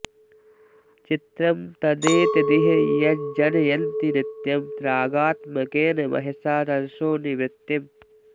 चित्रं तदेतदिह यज्जनयन्ति नित्यं रागात्मकेन महसा रजसो निवृत्तिम्